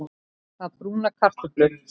Að brúna kartöflur